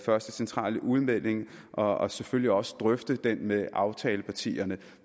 første centrale udmelding og og selvfølgelig også drøfte det med aftalepartierne